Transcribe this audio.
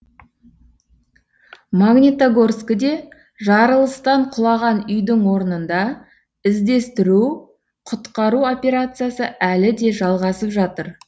магнитогорскіде жарылыстан құлаған үйдің орнында іздестіру құтқару операциясы әлі де жалғасып жатыр